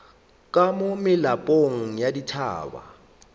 ka mo melapong ya dithaba